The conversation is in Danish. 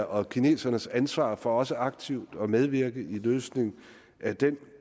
og kinesernes ansvar for også aktivt at medvirke i løsningen af den